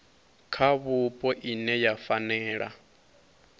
kha vhupo ine ya fanela